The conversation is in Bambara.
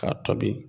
K'a tobi